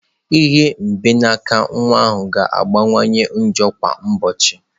Ihe mgbanaka nwa ahụ ga-akawanye njọ kwa ụbọchị.